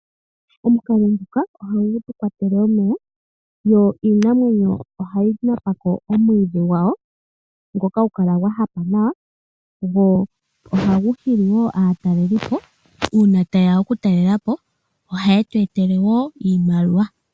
Omukalo nguka oha gu tukwatele omeya. Yo iinamwenyo ohayi napa ko omwiidhi gwayo ngoka hagu kala gwa hapa nawa. Go oha gu hili woo aatalelipo . Uuna taye ya oku talelapo ohaye tweetele woo iimaliwa.